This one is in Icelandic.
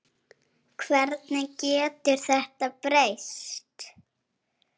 Hvernig getur þetta breyst?